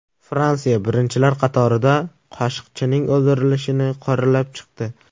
Fransiya birinchilar qatorida Qoshiqchining o‘ldirilishini qoralab chiqdi.